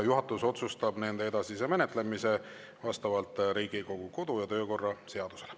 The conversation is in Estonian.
Juhatus otsustab nende edasise menetlemise vastavalt Riigikogu kodu‑ ja töökorra seadusele.